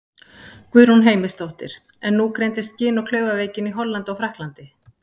Guðrún Heimisdóttir: En nú greindist gin- og klaufaveikin í Hollandi og Frakklandi?